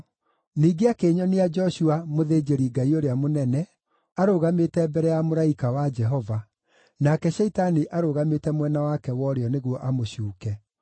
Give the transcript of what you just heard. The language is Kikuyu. Ningĩ akĩnyonia Joshua, mũthĩnjĩri-Ngai ũrĩa mũnene, arũgamĩte mbere ya mũraika wa Jehova, nake Shaitani arũgamĩte mwena wake wa ũrĩo nĩguo amũcuuke.